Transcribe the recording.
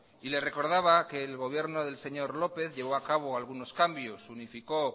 y le recordaba que el gobierno del señor lópez llevo a cabo algunos cambios unificó